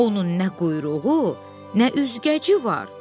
Onun nə quyruğu, nə üzgəci var.